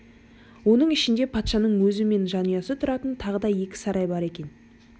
оның ішінде патшаның өзі мен жанұясы тұратын тағы да екі сарай бар екен